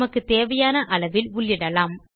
நமக்குத் தேவையான அளவில் உள்ளிடலாம்